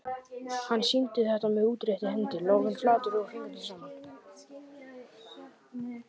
Hann sýndi þetta með útréttri hendi, lófinn flatur, fingurnir saman.